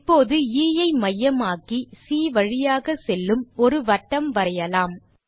இப்போது எ ஐ மையமாக்கி சி வழியாக செல்லும் ஒரு வட்டம் வரையலாம்